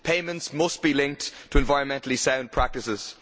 Payments must be linked to environmentally sound practices.